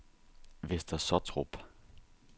Vester Sottrup